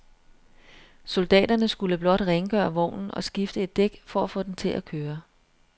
Soldaterne skulle blot rengøre vognen og skifte et dæk for at få den til at køre.